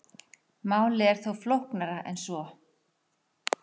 Málið er þó flóknara en svo.